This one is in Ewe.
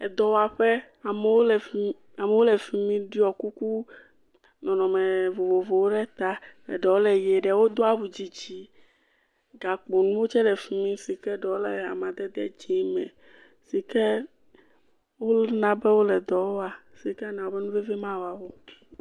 Edɔwaƒe, amewo le fi mi, amewo le fi mi ɖɔ kuku nɔnɔme vovovowo ɖe ta. Ɖewo le ʋe, ɖewo do awudzidzi, gakpo nuwo tsɛ le fi mi si ke ɖewo le amadede dzee me, si ke wona be wole dɔ wa, si ke ana be nuveve mawa wo.